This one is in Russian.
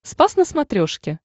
спас на смотрешке